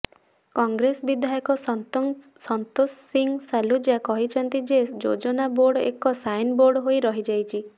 କଂଗ୍ରେସ ବିଧାୟକ ସନ୍ତୋଷ ସିଂ ସାଲୁଜା କହିଛନ୍ତି ଯେ ଯୋଜନା ବୋର୍ଡ ଏକ ସାଇନ୍ ବୋର୍ଡ ହୋଇ ରହିଯାଇଛି